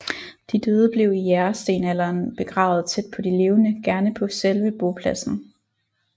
De døde blev i jægerstenalderen begravet tæt på de levende gerne på selve bopladsen